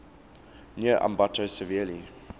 near ambato severely